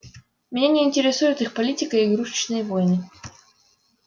меня не интересует их политика и игрушечные войны